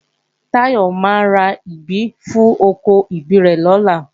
Táyọ máa ra ìgbín fún oko ìgbín rẹ̀ lọ́la